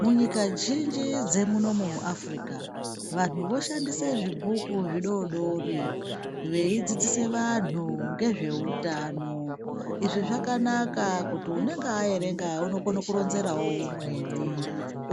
Munyika zhinji dzemunomu muAfrika, vanhu voshandise zvibhuku zvidori dori, veidzidzise vanhu ngezveutano. Izvi zvakanaka kuti unenga aerenga unokono kuronzerawo umweni,